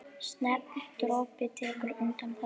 Stefán Broddi tekur undir þetta.